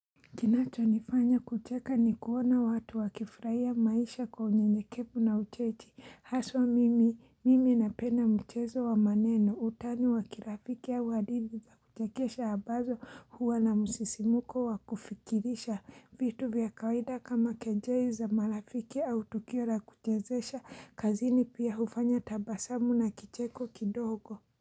Kinacho nifanya kucheka ni kuona watu wakifuraia maisha kwa unyenyekevu na uchechi. Haswa mimi, mimi napenda mchezo wa maneno. Utani wa kirafiki au hadithi za kuchekesha abazo huwa na musisimuko wa kufikirisha. Vitu vya kawaida kama kejei za marafiki au tukio la kuchezesha kazini pia hufanya tabasamu na kicheko kidogo.